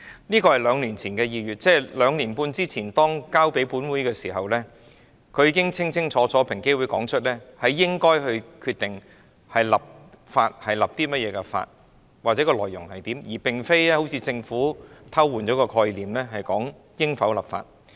這是兩年前的2月，即兩年半前，當建議交予本會時，平機會已經清清楚楚指出應該決定訂立甚麼法例及法例的內容，而並非如政府般偷換概念，討論應否立法。